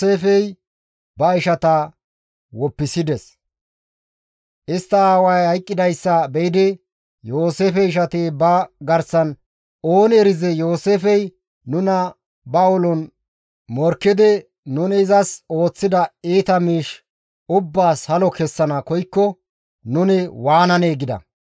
Istta aaway hayqqidayssa be7idi, Yooseefe ishati ba garsan, «Ooni erizee Yooseefey nuna ba ulon morkkidi nuni izas ooththida iita miish ubbaas halo kessana koykko, nuni waananee?» gida.